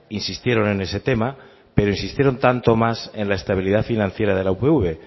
insistieron en ese tema pero insistieron tanto o más en la estabilidad financiera de la upv